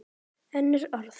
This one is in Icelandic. Önnur orð.